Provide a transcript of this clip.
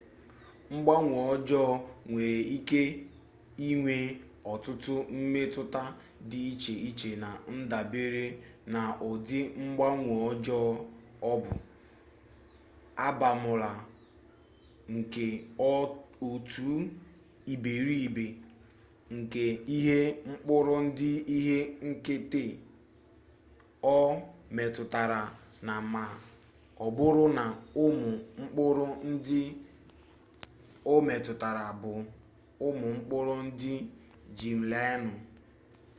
mgbanwe ọjọọ nwere ike inwe ọtụtụ mmetụta dị iche iche na ndabere na ụdị mgbanwe ọjọọ ọ bụ abamuru nke otu iberibe nke ihe mkpụrụ ndụ ihe nketa o metụtara na ma ọ bụrụ na ụmụ mkpụrụ ndụ o metụtara bụ ụmụ mkpụrụ ndụ geem-laịnụ